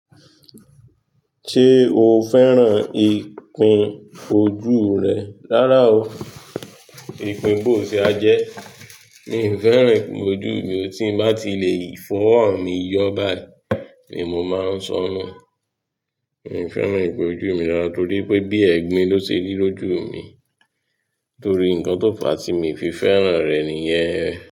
Ṣé o fẹ́ràn ìpín ojú rẹ? Rárá o, ìpín bò sí a jẹ́. Mi ò fẹ́ràn ìpín ojú mi, tí n bá ti lè fọ́wọ mì yọ̀ bái ni mo mọ ń sọnù. Mi ò fẹ́ràn ìpín ojú mi rárá torí pé bí ẹ̀gbin ló ṣe rí lójú mi torí nǹkan tó fà tí mi fi fẹ́ràn rẹ̀ nìyẹn.